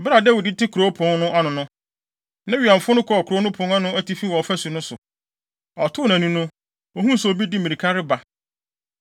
Bere a Dawid te kurow no pon ano no, ne wɛmfo no kɔɔ kurow no pon no atifi wɔ ɔfasu no so. Ɔtoo nʼani no, ohuu sɛ obi de mmirika reba.